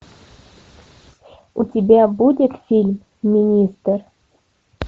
у тебя будет фильм министр